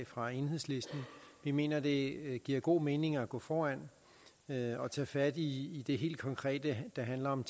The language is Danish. fra enhedslisten vi mener det giver god mening at gå foran og tage fat i det helt konkrete der handler om